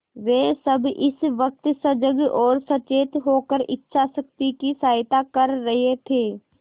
वे सब इस वक्त सजग और सचेत होकर इच्छाशक्ति की सहायता कर रहे थे